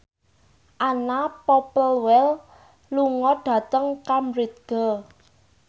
Anna Popplewell lunga dhateng Cambridge